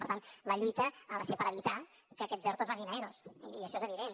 per tant la lluita ha de ser per evitar que aquests ertos vagin a eros i això és evident